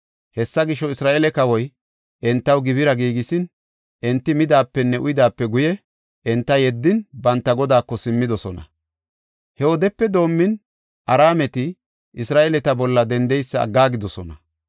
Hessa gisho, Isra7eele kawoy entaw gibira giigisin, enti midaapenne uyidaape guye, enta yeddin, banta godaako simmidosona. He wodepe doomin, Araameti Isra7eeleta bolla dendeysa aggaagidosona.